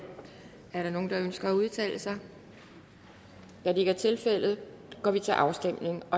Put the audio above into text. er der nogen der ønsker at udtale sig da det ikke er tilfældet går vi til afstemning